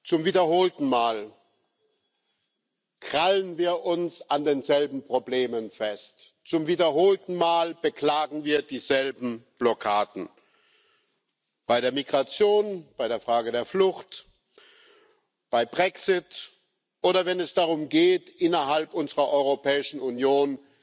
Zum wiederholten Mal krallen wir uns an denselben Problemen fest. Zum wiederholten Mal beklagen wir dieselben Blockaden Bei der Migration, bei der Frage der Flucht, beim Brexit oder wenn es darum geht, innerhalb unserer Europäischen Union